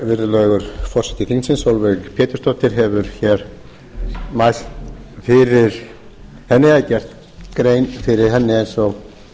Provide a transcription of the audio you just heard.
virðulegur forseti þingsins sólveig pétursdóttir hefur hér mælt fyrir henni eða gert grein fyrir henni eins og